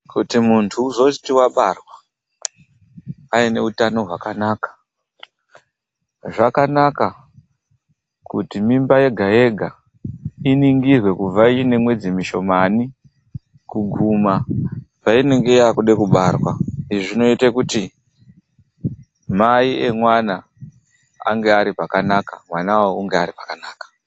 Kuti muntu uzoti wabara aine utano hwakanaka, zvakanaka kuti mimba yega yega iningirwe kubva iine mwedzi mishomani kuguma painenge yakude kubarwa. lzvi zvinoite kuti mai emwana ange ari pakanaka, mwanawo ange ari pakanaka.